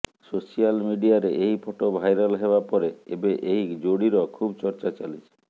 social ମିଡିଆରେ ଏହି photo viral ହେବା ପରେ ଏବେ ଏହି ଯୋଡିର ଖୁବ୍ ଚର୍ଚ୍ଚା ଚାଲିଛି